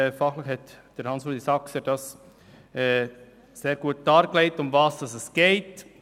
Gorssrat Saxer hat sehr gut dargelegt, worum es geht.